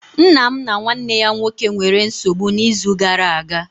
Nna m na nwanne ya nwoke nwere nsogbu n'izu gara aga